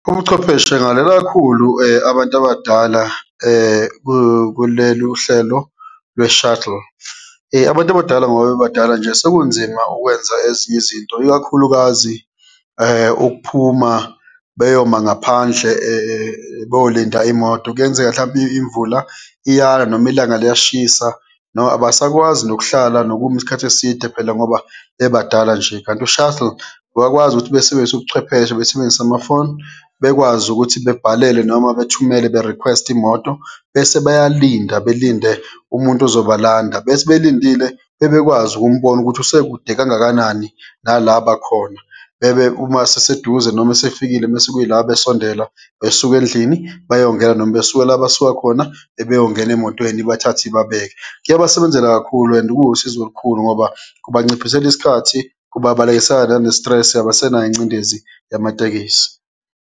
Ubuchwepheshe ngale kakhulu abantu abadala kulelu uhlelo lwe-shuttle. Abantu abadala ngoba bebadala nje, sekunzima ukwenza ezinye izinto, ikakhulukazi ukuphuma beyoma ngaphandle bolinda imoto. Kuyenzeka, mhlampe imvula iyana, noma ilanga liyashisa noma abasakwazi nokuhlala nokuma isikhathi eside phela ngoba bebadala nje. Kanti u-shuttle bayakwazi ukuthi besebenzise ubuchwepheshe, besebenzise amafoni bekwazi ukuthi bebhalele noma bethumele be-request-e imoto, bese bayalinda belinde umuntu ezobalanda, bethi belindile bebekwazi ukumbona ukuthi usekude kangakanani nala bakhona, bebe uma eseseduze, noma esefikile mese kuyila besondela besuka endlini beyongena noma besuke la basuka khona ebeyongena emotweni, ibathathe ibabeke. Kuyabasebenzela kakhulu and kuwusizo olukhulu ngoba kubanciphisela isikhathi, kubabalekisela nane-stress, abasenayo ingcindezi yamatekisi.